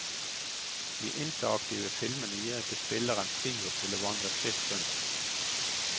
De interaktive filmene gir ikke spilleren frihet til å vandre fritt rundt.